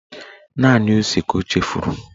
Naanị ose ka o chefuru